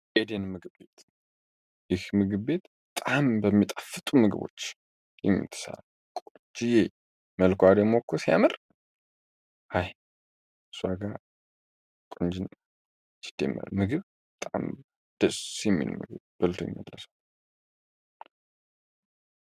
ኤዴን ምግቤት ይህ ምግብቤት ጣም በሚጣፍጡ ምግቦች የሚትሳ ቁጂ ዬ መልኳዋዴ ሞኮ ሲያምር ሃይ ሷጋ ቁንጂእና ችደመር ምግብ ጣም ደ የሚንግብ ብልቶኝለሰው